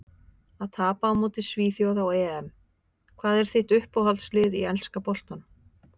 Að tapa á móti svíþjóð á EM Hvað er þitt uppáhaldslið í enska boltanum?